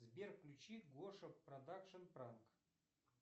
сбер включи гоша продакшн пранк